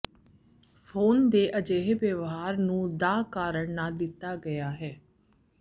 phone ਦੇ ਅਜਿਹੇ ਵਿਵਹਾਰ ਨੂੰ ਦਾ ਕਾਰਨ ਨਾ ਦਿੱਤਾ ਗਿਆ ਹੈ